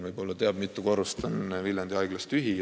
Ma ei tea, mitu korrust, Helmen võib-olla teab.